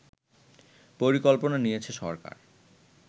পরিকল্পনা নিয়েছে সরকার